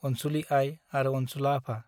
अनसुली आइ आरो अनसुला आफा ,